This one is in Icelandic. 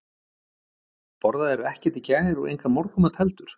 Borðaðirðu ekkert í gær og engan morgunmat heldur?